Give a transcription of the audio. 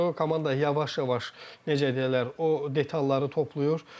Komanda yavaş-yavaş necə deyərlər, o detalları toplayır.